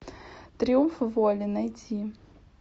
триумф воли найти